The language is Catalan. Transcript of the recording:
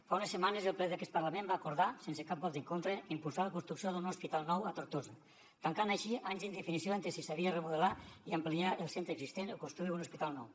fa unes setmanes el ple d’aquest parlament va acordar sense cap vot en contra impulsar la construcció d’un hospital nou a tortosa tancant així anys d’indefinició entre si s’havia de remodelar i ampliar el centre existent o construir un hospital nou